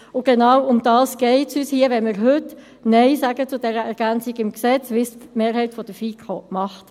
Um genau dies geht es uns hier, wenn wir heute Nein sagen zu dieser Ergänzung im Gesetz, wie sie die Mehrheit der FiKo will.